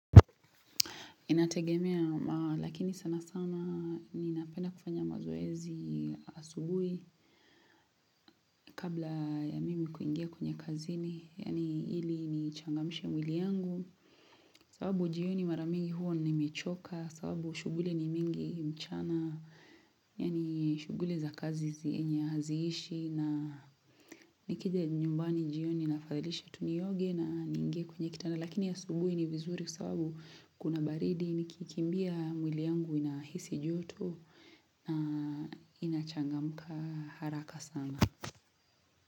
Inategemea, lakini sana sana ninapenda kufanya mazoezi asubuhi kabla ya mimi kuingia kwenye kazini, yaani ili nichangamishe mwili yangu. Sababu jioni mara mingi huwa nimechoka, sababu shughuli ni mingi mchana, yaani shughuli za kazi zi enye haziishi na nikija nyumbani jioni naafadhalisha tu nioge na niingie kwenye kitanda. Lakini asubuhi ni vizuri kwa sababu kuna baridi nikikimbia mwili yangu inahisi joto na inachangamka haraka sana.